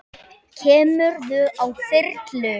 Kemurðu á þyrlu?